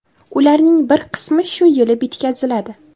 Ularning bir qismi shu yili bitkaziladi.